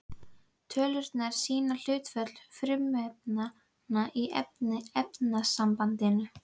Tölurnar sýna hlutföll frumefnanna í efnasambandinu.